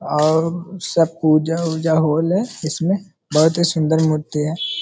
और सब पूजा उजा होल हेय इसमे बोहोत ही सुंदर मूर्ति है।